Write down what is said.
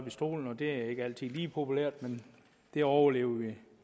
i stolen det er ikke altid lige populært men det overlever vi